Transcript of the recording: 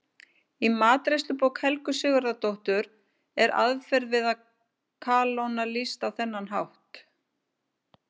Í matreiðslubók Helgu Sigurðardóttur er aðferð við að kalóna lýst á þennan hátt: